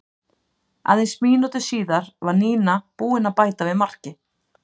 Aðeins mínútu síðar var Nína búin að bæta við marki.